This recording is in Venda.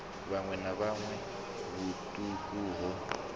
vhuṋwe na vhuṋwe vhuṱuku ho